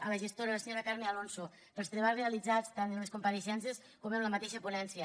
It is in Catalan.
a la gestora la senyora carme alonso pels treballs realitzats tant en les compareixences com en la mateixa ponència